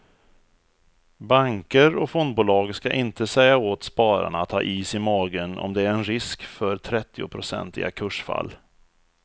Banker och fondbolag ska inte säga åt spararna att ha is i magen om det är en risk för trettionprocentiga kursfall.